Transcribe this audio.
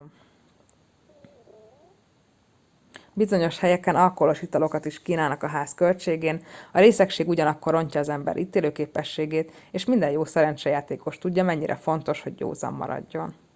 bizonyos helyeken alkoholos italokat is kínálnak a ház költségén a részegség ugyanakkor rontja az ember ítélőképességet és minden jó szerencsejátékos tudja mennyire fontos hogy józan maradjon